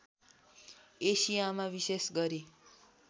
एसियामा विशेष गरी